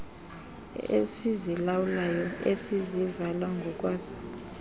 esizilawulayo esizivala ngokwaso